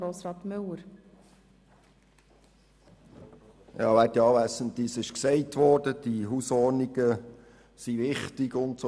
Es wurde gesagt, dass die Hausordnungen wichtig sind usw.